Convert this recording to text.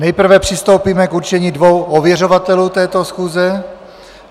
Nejprve přistoupíme k určení dvou ověřovatelů této schůze.